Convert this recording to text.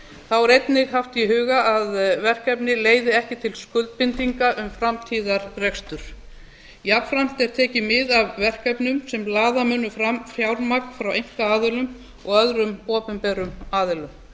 þá er einnig haft í huga að verkefni leiði ekki til skuldbindinga um framtíðarrekstur jafnframt er tekið mið af verkefnum sem laða munu fram fjármagn frá einkaaðilum og öðrum opinberum aðilum